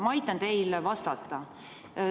Ma aitan teil vastata.